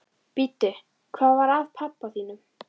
Bíddu, hvað var að pabba þínum?